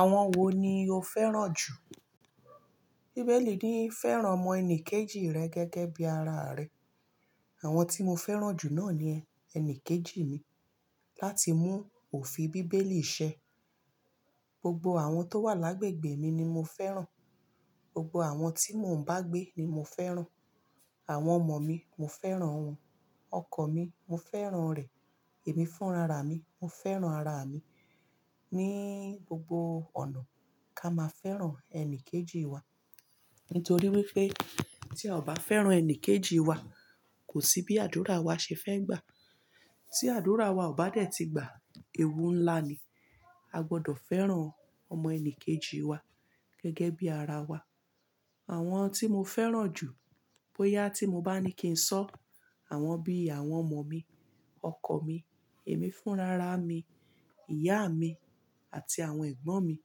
Àwọn wo ni o fẹ́ràn jù? Bíbélì ní í fẹ́ràn ọmọ ẹnì kejì rẹ gẹ́gẹ́ bí ara rẹ. Àwọn tí mo fẹ́ràn jù náà ni ẹni kejì mi. Láti mú òfin Bíbélì ṣẹ, gbogbo àwọn tó wà lágbègbè mi ni mo fẹ́ràn. Gbogbo àwọn tí mò ń bá gbé ni mo fẹ́ràn. Àwọn ọmọ mi, mo fẹ́ràn wọ́n. Ọkọ mi, mo fẹ́ràn rẹ̀. Ẹ̀mí fún rara mi, mo fẹ́ràn ara mi. Ni gbogbo ọ̀nà, ká máa fẹ́ràn ẹni kejì wa. Nítorí wípé tí a ò bá fẹ́ràn ẹni kejì wa, kò sí bí àdúrà wa ṣe fẹ́ gbà. Tí àdúrà wa ò bá dẹ̀ ti gba, ewu ńlá ni. A gbọdọ̀ fẹ́ràn ọmọ ẹni kejì wa gẹ́gẹ́ bí ara wa. Àwọn tí mo fẹ́ràn jù, bóyá tí mo bá ní kí ń sọ, àwọn bí àwọn ọmọ mi, ọkọ mi, ẹ̀mí fún rara mi, ìyá mi àti àwọn ẹ̀gbọ́n mi.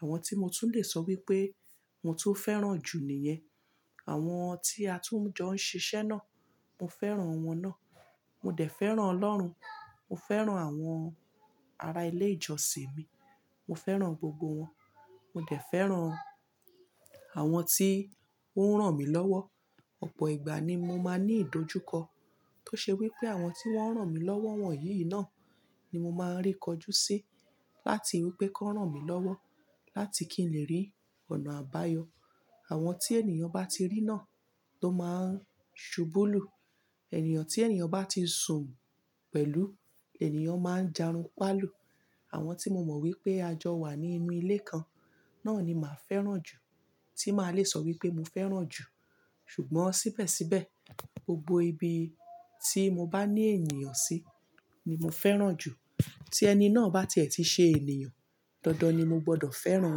Àwọn tí mo tún lè sọ wípé mo tun fẹ́ràn jù nìyẹn. Àwọn tí a tún jọ ń ṣiṣẹ́ náà, mo fẹ́ràn won náà. Mo dẹ̀ fẹ́ràn Ọlọ́run. Mo fẹ́ràn àwọn ará ilé ìjọsìn mi. Mo fẹ́ràn gbogbo wọn. Mo dẹ̀ fẹ́ràn àwọn tí ó ń ràn mí lọ́wọ́. Ọ̀pọ̀ ìgbà ni mo máa ní ìdojúkọ to ṣe wípé àwọn tí wón ń ràn mí lọ́wọ́ wọ̀nyí náà ni mo máa rékọjú sí láti wípé kó ràn mí lọ́wọ́ láti kí n lè rí ọ̀nà àbáyọ. Àwọn tí ènìyàn bá ti rí náà tó máa n ṣubúlù. Ènìyàn tí ènìyàn bá ti sùn pẹ̀lú, ènìyàn máa ń jarunpáàlù. Àwọn tí mo mọ̀ wípé a jọ wà ní inú ilé kan náà ni màá fẹ́ràn jù, tí màá le sọ wípé mo fẹ́ràn jù. Ṣùgbọ́n síbẹ̀síbẹ̀, gbogbo ibi tí mo bá ní ènìyàn sí ni mo fẹ́ràn jù. Tí ẹni náà bá ti ẹ̀ ti ṣe ènìyàn, dandan ni mo gbọdọ̀ fẹ́ràn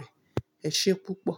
rẹ̀. Ẹ ṣé púpọ̀.